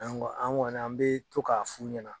An kɔ an kɔni an bɛ to k'a f'u ɲɛna.